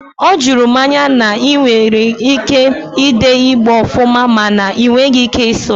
O juru m anya na i nwere ike i dee Igbo ofuma mana na ị nweghị ike ịsụ ya